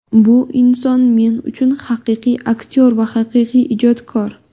Bu inson men uchun haqiqiy aktyor va haqiqiy ijodkor.